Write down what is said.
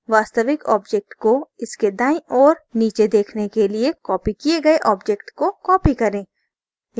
वास्तविक object को इसके दाईं ओर नीचे देखने के लिए copied किए गए object को copied करें